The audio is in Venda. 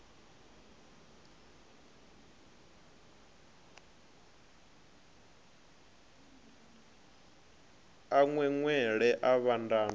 a ṅweṅwela a vhanda na